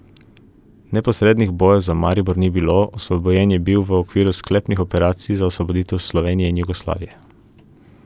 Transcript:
Neposrednih bojev za Maribor ni bilo, osvobojen je bil v okviru sklepnih operacij za osvoboditev Slovenije in Jugoslavije.